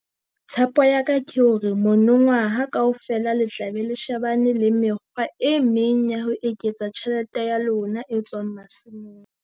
Tshepo ya ka ke hore monongwaha kaofela le tla be le shebane le mekgwa e meng ya ho eketsa tjhelete ya lona e tswang masimong.